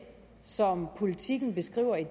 som politiken beskriver i